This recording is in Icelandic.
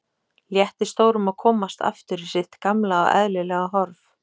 Létti stórum að komast aftur í sitt gamla og eðlilega horf.